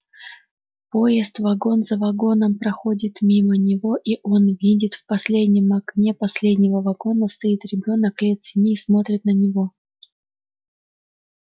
поезд вагон за вагоном проходит мимо него и он видит в последнем окне последнего вагона стоит ребёнок лет семи и смотрит на него